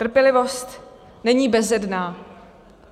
Trpělivost není bezedná.